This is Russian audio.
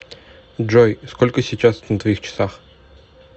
джой сколько сейчас на твоих часах